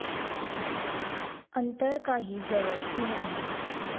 अंतर काही जवळचे नाही